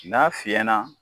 N'a fiɲɛna